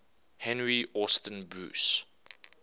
henry austin bruce